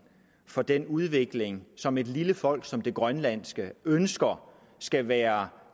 for den udvikling som et lille folk som det grønlandske ønsker skal være